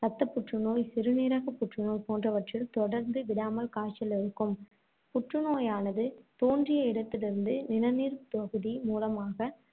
ரத்த புற்றுநோய், சிறுநீரக புற்றுநோய் போன்றவற்றில் தொடர்ந்து விடாமல் காய்ச்சல் இருக்கும். புற்றுநோயானது தோன்றிய இடத்திலிருந்து நிணநீர்த் தொகுதி மூலமாக